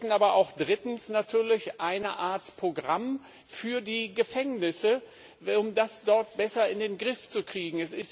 Wir bräuchten drittens aber auch eine Art Programm für die Gefängnisse, um das dort besser in den Griff zu kriegen.